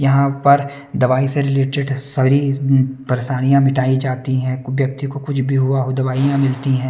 यहां पर दवाई से रिलेटेड सारी परेशानियां मिटाई जाती हैं कोई व्यक्ति को कुछ भी हुआ हो दवाइयां मिलती हैं।